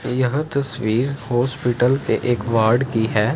यह तस्वीर हॉस्पिटल के एक वॉर्ड कि हैं।